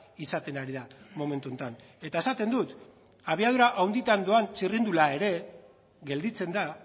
izaten ari da momentu honetan eta esaten dut abiadura handian doan txirrindula ere gelditzen da